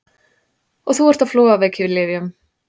Og þú ert á flogaveikilyfjum!